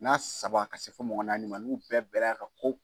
N'a saba ka se fɔ mɔgɔ naani ma n'u bɛɛ bɛnn'a ka ko